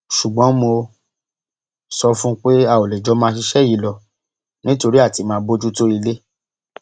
ṣùgbọn mo sọ fún un pé a ò lè jọ máa ṣiṣẹ yìí lọ nítorí àti máa bójútó ilé